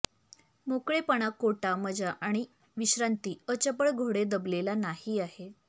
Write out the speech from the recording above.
मोकळेपणा कोटा मजा आणि विश्रांती अचपळ घोडे दबलेला नाही आहे